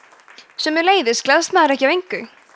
sömuleiðis gleðst maður ekki af engu